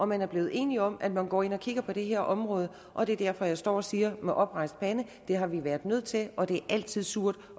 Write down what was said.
man er blevet enige om at man går ind og kigger på det her område og det er derfor jeg står og siger med oprejst pande det har vi været nødt til og det er altid surt